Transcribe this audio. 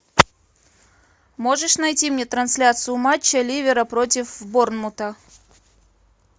можешь найти мне трансляцию матча ливера против борнмута